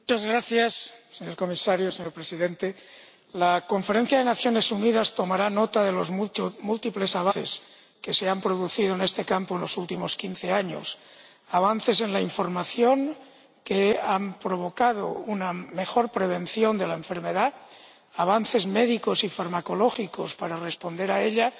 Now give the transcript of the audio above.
Señor Presidente, señor Comisario, la conferencia de las Naciones Unidas tomará nota de los múltiples avances que se han producido en este campo en los últimos quince años avances en la información que han conducido a una mejor prevención de la enfermedad, avances médicos y farmacológicos para responder a ella,